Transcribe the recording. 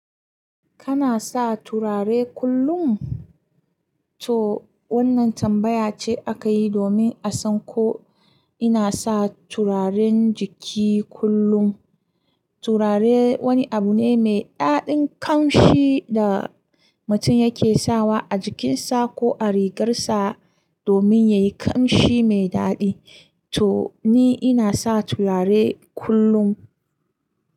Kana sa turare kullum? To wannan tambaya ce aka yi domin a san ko ina sa turaren jiki kullum. Turare wani abu ne mai daɗin kamshi da mutum yake sawa a jikinsa ko a rigarsa domin yayi kamshi mai daɗi. To ni ina sa turare kullum.